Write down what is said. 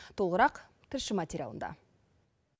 толығырақ тілші материалында